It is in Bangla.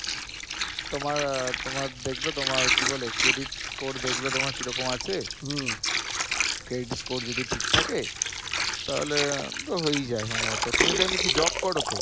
তোমার তোমার দেখবে তোমার কি বলে credit score দেখবে তোমার কি রকম আছে credit score যদি ঠিক থাকে তাহলে তো হই যায় সম্ভবত তুমি তো এমনি কি job করো তো?